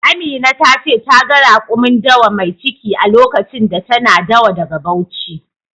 Amina ta ce ta ga rakumin dawa mai ciki a lokacin da tana dawa daga Bauchi.